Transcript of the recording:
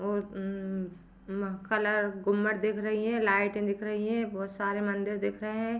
और उम्म्म्म कलर घुम्मट दिख रही है। लाइटे दिख रही है बहुत सारे मंदिर दिख रहे है।